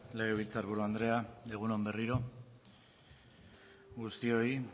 legebiltzar buru andrea egun on berriro guztioi